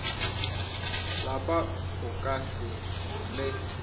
lapa o ka se le